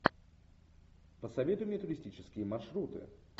посоветуй мне туристические маршруты